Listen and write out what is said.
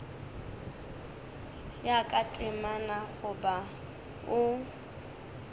ya ka temana goba o